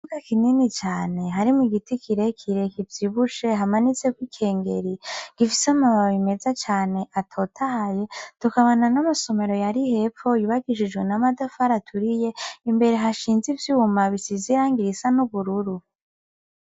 Ikibuga kinini cane harimwo igiti kirekire kivyibushe hamanitseko ikengeri , gifise amababi meza cane atotahaye , tukabona n'amasomero ari hepfo yubakishijwe n'amatafari aturiye imbere hashinze ivyuma bisize irangi risa nubururu